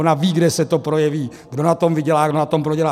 Ona ví, kde se to projeví, kdo na tom vydělá, kdo na tom prodělá.